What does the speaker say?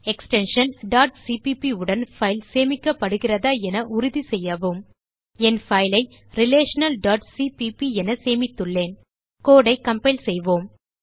extension cpp உடன் file சேமிக்கப்படுகிறதா என உறுதிசெய்யவும் என் பைல் ஐ relationalசிபிபி என சேமித்துள்ளேன் codeஐ கம்பைல் செய்வோம்